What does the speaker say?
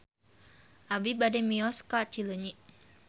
Abi bade mios ka Cileunyi